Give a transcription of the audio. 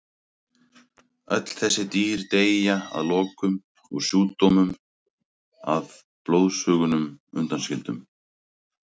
Öll þessi dýr deyja að lokum úr sjúkdómnum að blóðsugunum undanskildum.